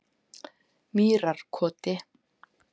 Mýrarkoti